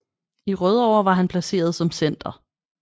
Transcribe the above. I Rødovre var han placeret som center